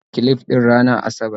Zan gyara clif din ranar asabar